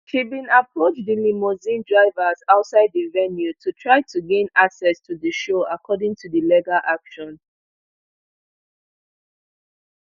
she bin approach di limousine drivers outside di venue to try to gain access to di show according to di legal action